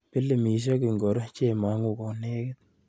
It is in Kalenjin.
Pilimisiek ingoro chemang'u konekit.